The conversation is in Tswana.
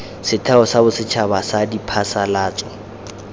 setheo sa bosetšhaba sa diphasalatso